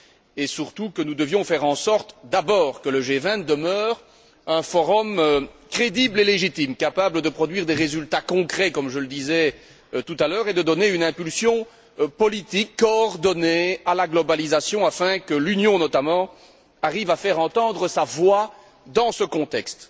et que nous devions faire en sorte que le G20 demeure d'abord un forum crédible et légitime, capable de produire des résultats concrets, comme je le disais tout à l'heure, et de donner une impulsion politique coordonnée à la globalisation afin que l'Union, notamment, arrive à faire entendre sa voix dans ce contexte.